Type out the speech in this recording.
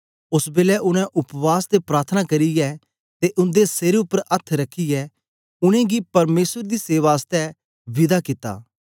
ओस बेलै उनै उपवास ते प्रार्थना करियै ते उन्दे सेर उपर अथ्थ रखियै उनेंगी परमेसर दी सेवा आसतै विदा कित्ता